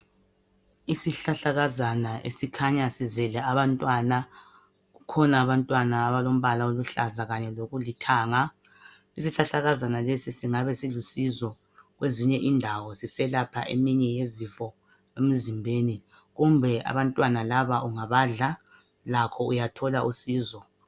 Isihlahlakazana esikhanya sizele abantwana kukhona abantwana abalombala oluhlaza kanye lokulithanga isihlahlakazana lesi singabe silusizo kwezinye indawo siselapha eminye yezifo emizimbeni kumbe abantwana laba ungabadla lakho uyathola usizo.